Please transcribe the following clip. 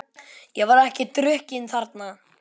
Ég var ekki drukkin þarna.